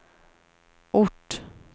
ort